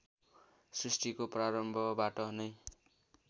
श्रृष्टिको प्रारम्भबाट नै